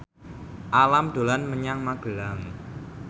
Alam dolan menyang Magelang